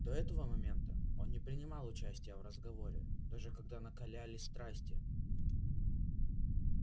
до этого момента он не принимал участия в разговоре даже когда накалялись страсти